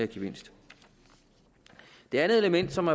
gevinst det andet element som